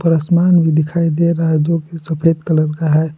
आसमान भी दिखाई दे रहा है जो कि सफेद कलर का है।